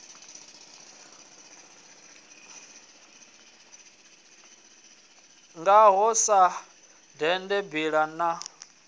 ngaho sa dende mbila na